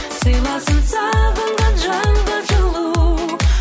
сыйласын сағынған жанға жылу